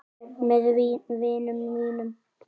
Með vinum mínum.